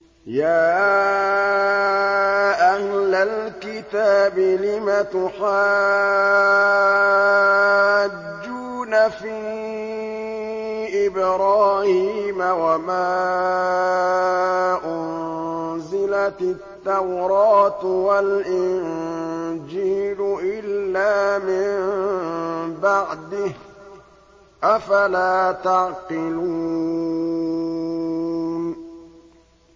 يَا أَهْلَ الْكِتَابِ لِمَ تُحَاجُّونَ فِي إِبْرَاهِيمَ وَمَا أُنزِلَتِ التَّوْرَاةُ وَالْإِنجِيلُ إِلَّا مِن بَعْدِهِ ۚ أَفَلَا تَعْقِلُونَ